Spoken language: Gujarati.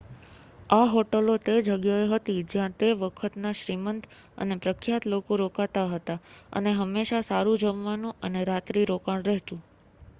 આ હોટલો તે જગ્યાએ હતી જ્યાં તે વખતના શ્રીમંત અને પ્રખ્યાત લોકો રોકાતા હતા અને હંમેશાં સારું જમવાનું અને રાત્રિ રોકાણ રહેતું